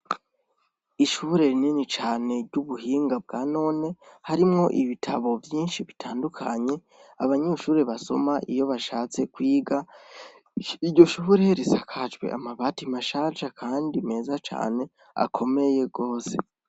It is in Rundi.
Ishure rinini cane ry'ubuhinga bwa none harimwo ibitabo vyinshi bitandukanye , abanyeshure basoma iyo bashatse kwiga , iryo shure risakajwe amabati mashasha kandi meza cane akomeye gose.